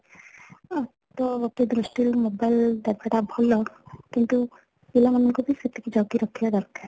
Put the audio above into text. ଆଃ ତ ଗୋଟେ ଦୃଷ୍ଟି ରୁ mobile ଜାଗା ଟା ଭଲ କିନ୍ତୁ ପିଲା ମାନ ଙ୍କୁ ବି ସେତିକି ଜଗି ରଖିବା ଦରକାର